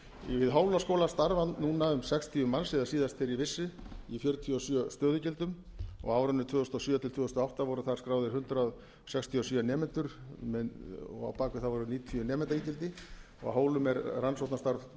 við hólaskóla starfa núna um sextíu manns eða síðast þegar ég vissi í fjörutíu og sjö stöðugildum og á árinu tvö þúsund og sjö til tvö þúsund og átta voru þar skráðir hundrað sextíu og sjö nemendur og á bak við þá eru níutíu nemendaígildi á hólum er rannsóknastarf